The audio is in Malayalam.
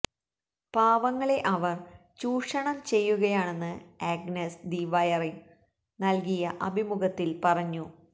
പാവങ്ങളെ അവർ ചൂഷണം ചെയ്യുകയാണെന്ന് ആഗ്നസ് ദി വയറിന് നല്കിയ അഭിമുഖത്തില് പറഞ്ഞു